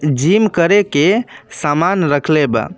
Gym करे के समान रखले बा।